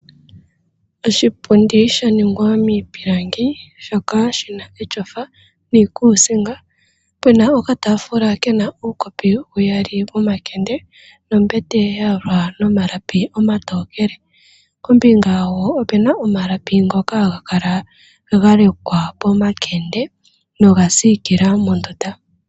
Oshipundi sha ningwa miipilangi shoka shi na etyofa niikuusinga. Pena okaataafula ke na uukopi uyali womakende, nombete ya yalwa nomalapi omatookele. Pombinga wo ope na omalapi ngoka haga kala ga lekwa pomakende, noga siikila mondunda.